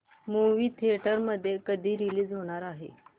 movie theatre मध्ये कधी release होणार आहे